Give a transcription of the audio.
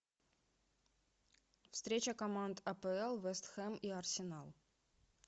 встреча команд апл вест хэм и арсенал